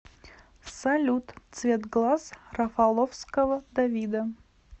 салют цвет глаз рафаловского давида